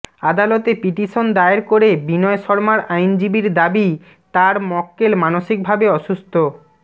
আদালতে পিটিশন দায়ের করে বিনয় শর্মার আইনজীবীর দাবি তাঁর মক্কেল মানসিকভাবে অসুস্থ